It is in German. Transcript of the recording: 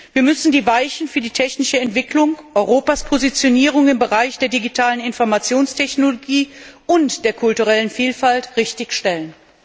Wir müssen die Weichen für die technische Entwicklung und Europas Positionierung im Bereich der digitalen Informationstechnologie und der kulturellen Vielfalt richtig stellen.